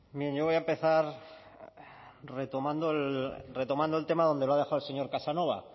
bien yo voy a empezar retomando el tema donde lo ha dejado el señor casanova